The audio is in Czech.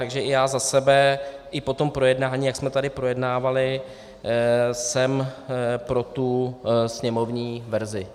Takže i já za sebe i po tom projednání, jak jsme tady projednávali, jsem pro tu sněmovní verzi.